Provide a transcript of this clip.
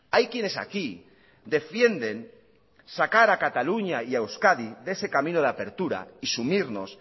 hay quienes aquí defienden sacar a cataluña y euskadi de ese camino de apertura y sumirnos